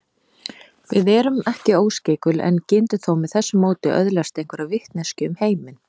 Við erum ekki óskeikul en getum þó með þessu móti öðlast einhverja vitneskju um heiminn.